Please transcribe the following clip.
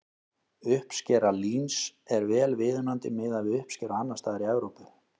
Uppskera líns er vel viðunandi miðað við uppskeru annars staðar í Evrópu.